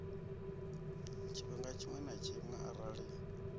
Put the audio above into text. tshifhinga tshiṅwe na tshiṅwe arali